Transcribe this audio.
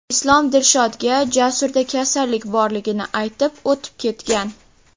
Islom Dilshodga Jasurda kasallik borligini aytib, o‘tib ketgan.